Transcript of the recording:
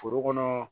Foro kɔnɔ